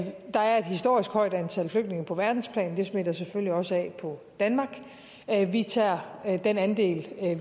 er et historisk højt antal flygtninge på verdensplan og det smitter selvfølgelig også af på danmark vi tager den andel